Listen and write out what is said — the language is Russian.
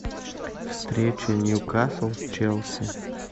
встреча ньюкасл с челси